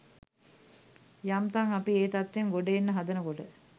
යම් තම් අපි ඒ තත්වයෙන් ගොඩ එන්න හදනකොට